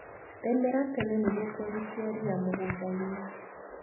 Rĩmĩra tene nĩguo kwehutia ria mũgundainĩ.